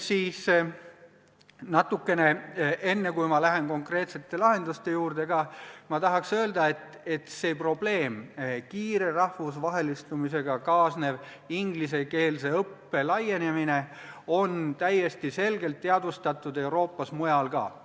Enne, kui ma konkreetsete lahenduste juurde lähen, tahan ma öelda, et seda probleemi – kiire rahvusvahelistumisega kaasnevat ingliskeelse õppe laienemist – on täiesti selgelt teadvustatud ka mujal Euroopas.